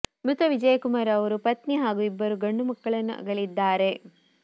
ಮೃತ ವಿಜಯ್ ಕುಮಾರ್ ಅವರು ಪತ್ನಿ ಹಾಗೂ ಇಬ್ಬರು ಗಂಡು ಮಕ್ಕಳನ್ನು ಅಗಲಿದ್ದಾರೆ